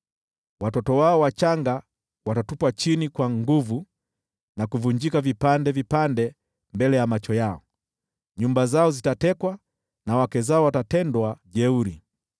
Watoto wao wachanga watavunjwa vipande vipande mbele ya macho yao; nyumba zao zitatekwa na wake zao watatendwa jeuri.